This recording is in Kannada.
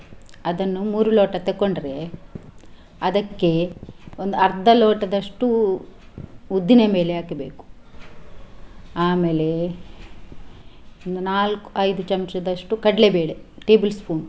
ಅದನ್ನು ಮೂರು ಲೋಟ ತೊಕೊಂಡ್ರೆ ಅದಕ್ಕೆ ಒಂದು ಅರ್ಧ ಲೋಟದಷ್ಟು ಉದ್ದಿನಬೇಳೆ ಹಾಕ್ಬೇಕು. ಆಮೇಲೆ ಒಂದು ನಾಲ್ಕು ಐದು ಚಮ್ಚದಷ್ಟು ಕಡ್ಲೆಬೇಳೆ table spoon .